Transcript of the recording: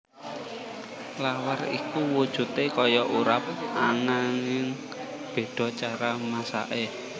Lawar iku wujudé kaya urap ananging béda cara masaké